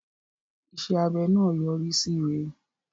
Iṣẹ́ abẹ náà yọrí síre.